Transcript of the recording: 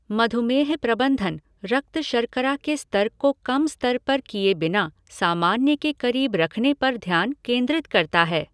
मधुमेह प्रबंधन रक्त शर्करा के स्तर को कम स्तर पर किए बिना सामान्य के करीब रखने पर ध्यान केंद्रित करता है।